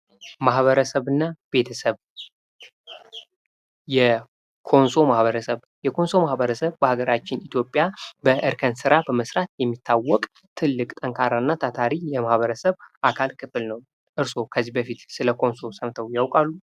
ማህበረሰብ እና ቤተሰብ፦ የኮንሶ ማህበረሰብ፦ የኮንሶ ማህበረሰብ በሀገራችን ኢትዮጵያ እርከን ስራ በመስራት የሚታዎቅ ትልቅ እና ታታሪ የማህበረሰብ አካል ክፍል ነው። እርስዎስ ከዚህ በፊት ስለ ኮንሶ ሰምተው ያቃሉ?